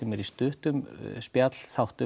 er í stuttum spjallþáttum